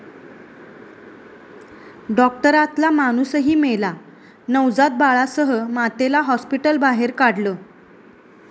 डाॅक्टरातला माणूसही मेला, नवजात बाळासह मातेला हाॅस्पिटलबाहेर काढलं